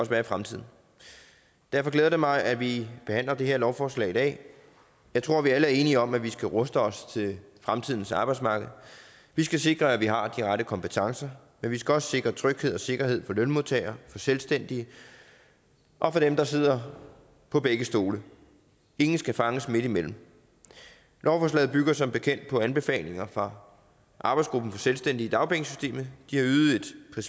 også være i fremtiden derfor glæder det mig at vi behandler det her lovforslag i dag jeg tror vi alle er enige om at vi skal ruste os til fremtidens arbejdsmarked vi skal sikre at vi har de rette kompetencer men vi skal også sikre tryghed og sikkerhed for lønmodtagere for selvstændige og for dem der sidder på begge stole ingen skal fanges midtimellem lovforslaget bygger som bekendt på anbefalinger fra arbejdsgruppen selvstændige i dagpengesystemet de har ydet